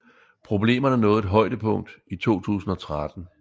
Problemerne nåede et højdepunkt i 2013